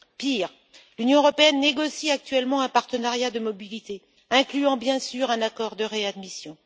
Pire, l'Union négocie actuellement un partenariat de mobilité incluant, bien sûr, un accord de réadmission.